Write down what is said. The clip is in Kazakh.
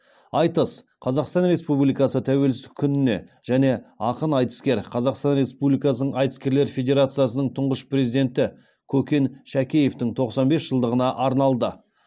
айтыс қазақстан республикасы тәуелсіздік күніне және ақын айтыскер қазақстан республикасы айтыскерлер федерациясының тұңғыш президенті көкен шәкеевтің тоқсан бес жылдығына арналды